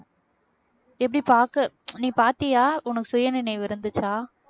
எப்படி பார்க்க நீ பார்த்தியா உனக்கு சுயநினைவு இருந்துச்சா